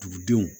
Dugudenw